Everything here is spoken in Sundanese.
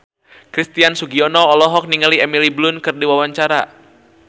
Christian Sugiono olohok ningali Emily Blunt keur diwawancara